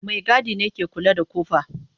Maigadi ne ke kula da kofa.